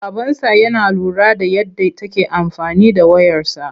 Babansa yana lura da yadda take amfani da wayarsa..